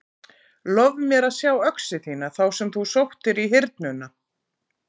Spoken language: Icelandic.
Lof mér að sjá öxi þína þá sem þú sóttir í Hyrnuna.